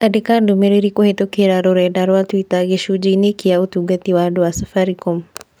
Andĩka ndũmĩrĩri kũhītũkīra rũrenda rũa tũita gĩcunjĩ inĩ ki ũtungata wa andũ a Safaricom.